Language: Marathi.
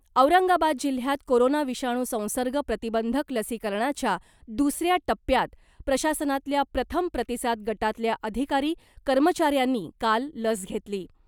औरंगाबाद जिल्ह्यात कोरोना विषाणू संसर्ग प्रतिबंधक लसीकरणाच्या दुसऱ्या टप्प्यात , प्रशासनातल्या प्रथम प्रतिसाद गटातल्या अधिकारी कर्मचाऱ्यांनी काल लस घेतली .